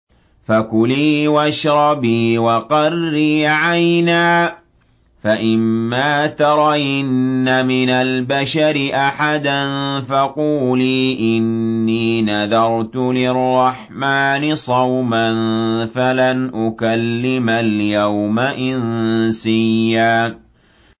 فَكُلِي وَاشْرَبِي وَقَرِّي عَيْنًا ۖ فَإِمَّا تَرَيِنَّ مِنَ الْبَشَرِ أَحَدًا فَقُولِي إِنِّي نَذَرْتُ لِلرَّحْمَٰنِ صَوْمًا فَلَنْ أُكَلِّمَ الْيَوْمَ إِنسِيًّا